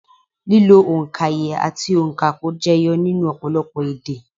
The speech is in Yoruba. Lílo òǹkaye àti ònkapò jẹyọ nínú ọ̀pọ̀lọpọ̀ èdè